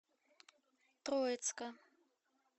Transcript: троицка